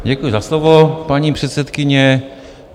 Děkuji za slovo, paní předsedkyně.